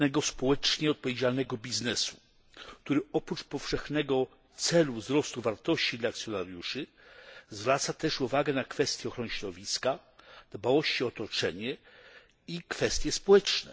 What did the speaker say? społecznie odpowiedzialnego biznesu, który oprócz powszechnego celu wzrostu wartości dla akcjonariuszy zwraca też uwagę na kwestie ochrony środowiska, dbałości o otoczenie i kwestie społeczne.